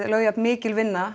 lögð jafn mikil vinna